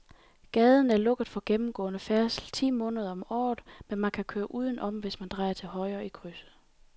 Gaden er lukket for gennemgående færdsel ti måneder om året, men man kan køre udenom, hvis man drejer til højre i krydset.